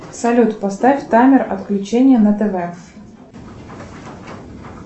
салют поставь таймер отключения на тв